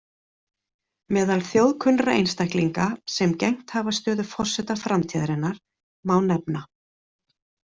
Meðal þjóðkunnra einstaklinga, sem gegnt hafa stöðu forseta Framtíðarinnar, má nefna.